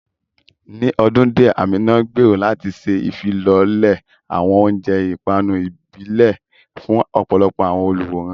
Ní ọdún díẹ̀, Amina gbèrò láti ṣe ìfilọ́lẹ̀ àwọn oúnjẹ ìpanu ìbílẹ̀ fún ọ̀pọ̀lọpọ̀ àwọn olùwòran.